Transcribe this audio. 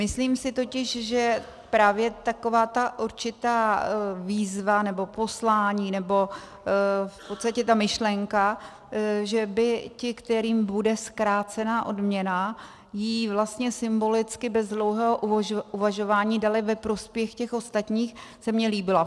Myslím si totiž, že právě taková ta určitá výzva, nebo poslání, nebo v podstatě ta myšlenka, že by ti, kterým bude zkrácena odměna, ji vlastně symbolicky bez dlouhého uvažování dali ve prospěch těch ostatních, se mi líbila.